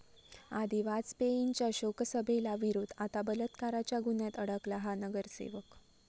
आधी वाजपेयींच्या शोकसभेला विरोध, आता बलात्काराच्या गुन्ह्यात अडकला हा नगरसेवक